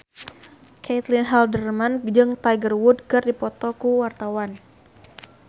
Caitlin Halderman jeung Tiger Wood keur dipoto ku wartawan